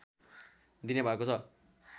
दिने भएको छ